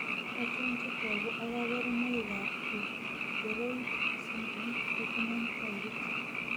Achon chetogu ak kaborunoik ab pregeroid syndrome penttinen taipit?